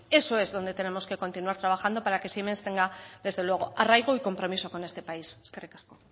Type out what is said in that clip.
eso es donde tenemos que continuar trabajando para que siemens tenga desde luego arraigo y compromiso con este país eskerrik asko